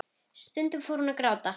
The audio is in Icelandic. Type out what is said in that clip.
Stundum fór hún að gráta.